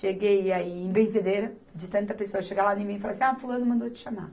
Cheguei a ir em benzedeira, de tanta pessoa chegar lá em mim e falar assim, ah, fulano mandou te chamar.